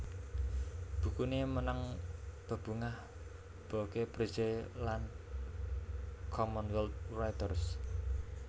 Bukuné menang bebungah Boeke Prize lan Commonwealth Writers